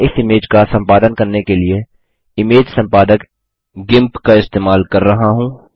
मैं इस इमेज का सम्पादन करने के लिए इमेज सम्पादक गिम्प का इस्तेमाल कर रहा हूँ